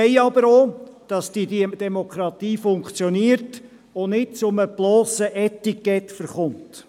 Wir wollen aber auch, dass diese Demokratie funktioniert und nicht zur blossen Etikette verkommt.